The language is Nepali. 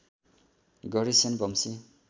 गढी सेन वंशी